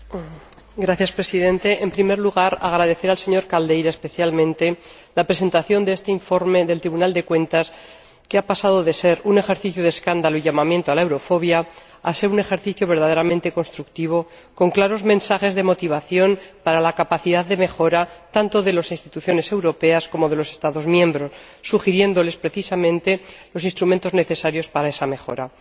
Señor Presidente, en primer lugar quiero agradecer, al señor da Silva Caldeira especialmente, la presentación de este informe del Tribunal de Cuentas, que ha pasado de ser un ejercicio de escándalo y llamamiento a la eurofobia a ser un ejercicio verdaderamente constructivo, con claros mensajes de motivación para la capacidad de mejora, tanto de las Instituciones europeas, como de los Estados miembros, sugiriéndoles, precisamente, los instrumentos necesarios para esa mejora.